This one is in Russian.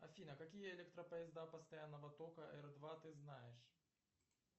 афина какие электропоезда постоянного тока р два ты знаешь